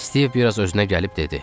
Stiv biraz özünə gəlib dedi.